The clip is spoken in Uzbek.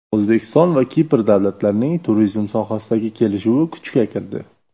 O‘zbekiston va Kipr davlatlarining turizm sohasidagi kelishuvi kuchga kirdi.